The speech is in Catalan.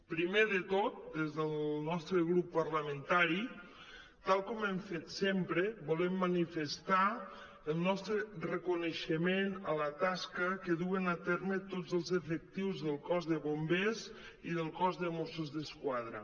primer de tot des del nostre grup parlamentari tal com hem fet sempre volem manifestar el nostre reconeixement a la tasca que duen a terme tots els efectius del cos de bombers i del cos de mossos d’esquadra